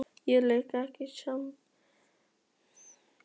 Ég leik ekki við smábörn sagði Lilla stutt í spuna.